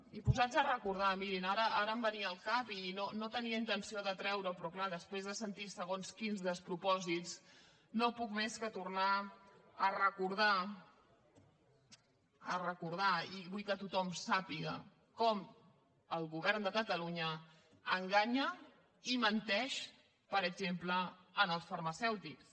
i posats a recordar mirin ara em venia al cap i no tenia intenció de treure ho però clar després de sentir segons quins despropòsits no puc més que tornar a recordar i vull que tothom ho sàpiga com el govern de catalunya enganya i menteix per exemple als farmacèutics